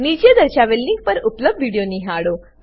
નીચે દર્શાવેલ લીંક પર ઉપલબ્ધ વિડીયો નિહાળો